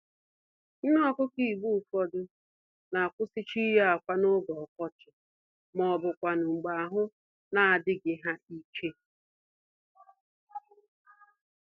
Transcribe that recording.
Nné-Ọkụkọ Igbo ụfọdụ n'akwụsịcha iyi ákwà n'oge ọkọchị, mọbụkwanụ̀ mgbè ahụ n'adịghị ha íke